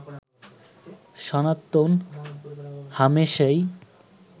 সনাতন হামেশাই